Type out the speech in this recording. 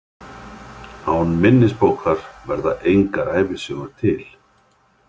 Án minnisbókar verða engar ævisögur til.